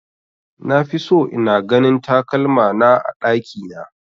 Nafi so ina ganin takalmana a ɗakina